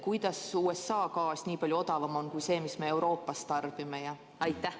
Kuidas USA gaas nii palju odavam on kui see, mis me Euroopas tarbime?